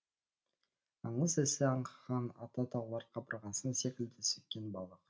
аңыз исі аңқған ата таулар қабырғасын секілді сөккен балық